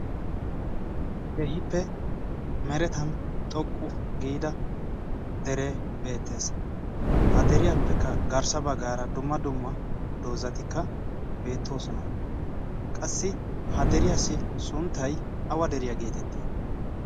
Keehippe merettan xoqqu giide dere beettees. ha deriyaappekka garssa baggara dumma dumma doozati beettoosona. qassi ha deriyaassi sunttay awa deriyaa getetti?